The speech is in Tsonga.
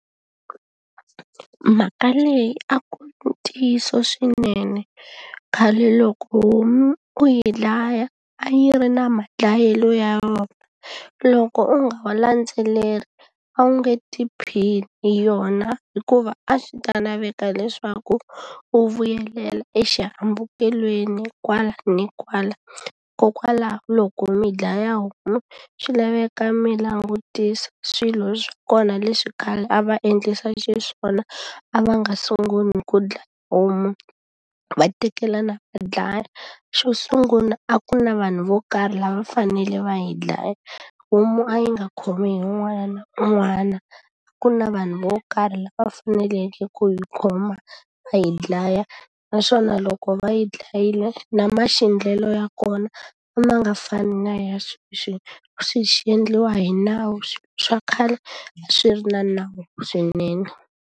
Mhaka leyi a ku ri ntiyiso swinene. Khale loko homu u yi dlaya, a yi ri na madlayelo ya yona. Loko u nga wa landzeleli a wu nge tiphini hi yona hikuva a swi ta laveka leswaku u vuyelela exihambukelweni kwala ni kwala. Hikokwalaho loko mi dlaya homu, swi laveka mi langutisa swilo swa kona leswi khale a va endlisa xiswona, a va nga sungula hi ku dlaya homu va tekelana va dlaya. Xo sungula a ku ri na vanhu vo karhi lava va fanele va yi dlaya, homu a yi nga khomi hi un'wana na un'wana. Ku na vanhu vo karhi lava faneleke ku yi khoma va yi dlaya, naswona loko va yi dlayile na maxindlelo ya kona a ma nga fani na ya sweswi. Swi xindliwa hi nawu, swa khale a swi ri na nawu swinene.